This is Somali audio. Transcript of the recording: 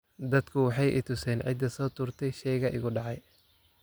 Dadku waxay i tuseen cidda soo tuurtay shayga igu dhacay.